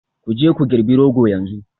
Ku je ku girbi Rogo yanzu